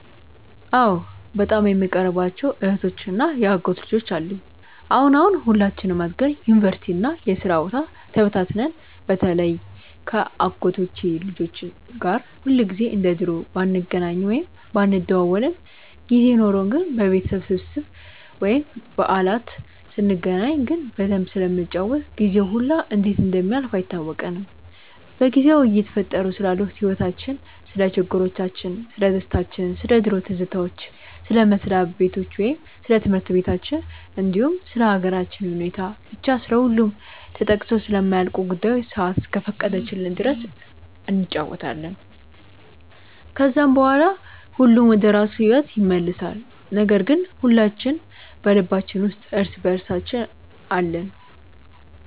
አዎ በጣም የምቀርባቸው እህቶች እና የአጎት ልጆች አሉኝ። አሁን አሁን ሁላችንም አድገን ዩኒቨርሲቲ እና የስራ ቦታ ተበታትነን በተለይ ከ አጎቶቼ ልጆች ጋር ሁልጊዜ እንደ ድሮ ባንገናኝም ወይም ባንደዋወልም ጊዜ ኖርን ግን በቤተሰብ ስብስብ ወይም በዓላት ስንገናኝ ግን በደንብ ስለምንጫወት ጊዜው ሁላ እንዴት እንደሚያልፍ አይታወቀንም። በጊዜው እየተፈጠሩ ስላሉት ህይወቲቻችን፣ ስለ ችግሮቻችን፣ ስለደስታችን፣ ስለ ድሮ ትዝታዎች፣ ስለ መስሪያ በታቸው ወይም ስለ ትምህርት በታችን እንዲሁም ስለ ሃገራችን ሁኔታ፤ ብቻ ስለሁሉም ተጠቅሰው ስለማያልቁ ጉዳዮች ሰአት እስከፈቀደችልን ድረስ እንጫወታለን። ከዛም በኋላ ሁሉም ወደራሱ ሂዎት ይመለሳል ነገር ግን ሁላችን በልባችን ውስጥ እርስ በእርሳችን አለን።